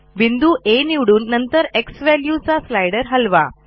बिंदू आ निवडून नंतर झ्वॅल्यू चा स्लाइडर हलवा